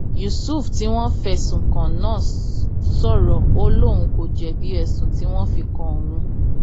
yusuf tí wọn fẹsùn kàn náà sọrọ ó lóun kò jẹbi ẹsùn tí wọn fi kan òun